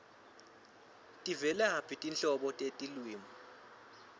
tivelaphi tinhlobo tetilwimi